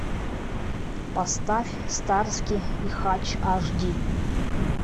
поставь старски и хатч аш ди